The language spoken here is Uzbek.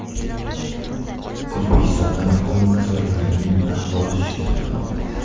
O‘zbekistonda alkogol mahsulotlarining narxi oshishi kutilmoqda.